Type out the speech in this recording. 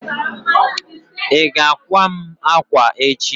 iga àkwá mu akwa echi?